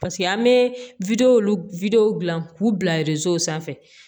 Paseke an bɛ dilan k'u bila sanfɛ